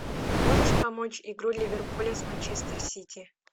можешь помочь игру ливерпуля с манчестер сити